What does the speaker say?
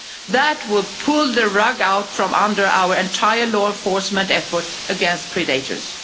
That would pull the rug out from under our entire law enforcement effort against predators.